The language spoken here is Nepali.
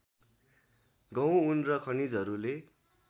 गहुँ ऊन र खनिजहरूले